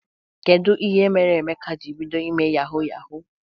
Kedụ ihe mere Emeka jiri bido ime yawu yawu?